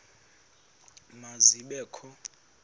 ma zibe kho